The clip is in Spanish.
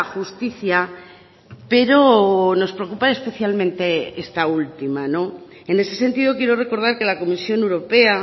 justicia pero nos preocupa especialmente esta última en ese sentido quiero recordar que la comisión europea